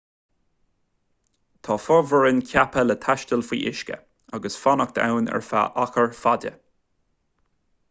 tá fomhuireáin ceaptha le taisteal faoi uisce agus fanacht ann ar feadh achar fada